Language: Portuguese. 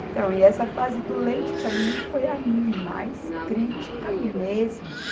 Então, e essa fase do leite, para mim, foi a mais crítica mesmo.